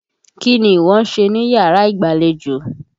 Kí ni ìwọ ń ṣe níyàrá ìgbàlejò?